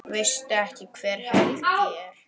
Veistu ekki hver Helgi er?